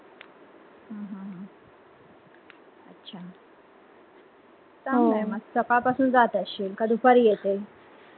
चांगलंय म सकाळ पासून जात असशील का दुपारी येते?